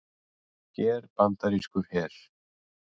Hér bandarískur her.